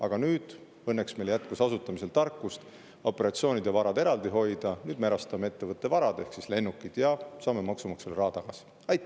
Aga nüüd – õnneks meil jätkus asutamisel tarkust operatsioonid ja varad eraldi hoida – me erastame ettevõtte varad ehk siis lennukid ja saame maksumaksja raha tagasi.